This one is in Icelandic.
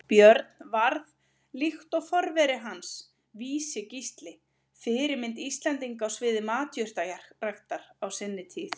Björn varð, líkt og forveri hans Vísi-Gísli, fyrirmynd Íslendinga á sviði matjurtaræktar á sinni tíð.